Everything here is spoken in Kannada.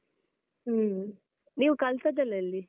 ಹ್ಮ್ ನೀವು ಕಲ್ತದ್ದ್ ಎಲ್ಲ ಎಲ್ಲಿ?